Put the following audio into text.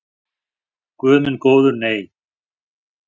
Guð minn góður nei.